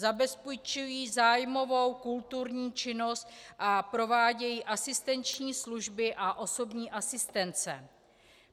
Zabezpečují zájmovou kulturní činnost a provádějí asistenční činnost a osobní asistence.